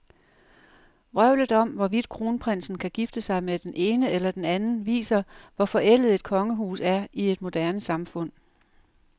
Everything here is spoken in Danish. Vrøvlet om, hvorvidt kronprinsen kan gifte sig med den ene eller den anden, viser, hvor forældet et kongehus er i et moderne samfund.